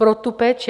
Pro tu péči.